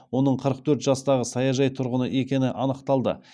оның қырық төрт жастағы саяжай тұрғыны екені анықталды